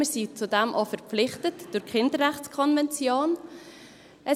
Dazu sind wir durch die Kinderrechtskonvention auch verpflichtet.